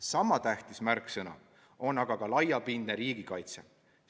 Sama tähtis märksõna on ka laiapindne riigikaitse.